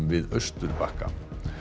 við Austurbakka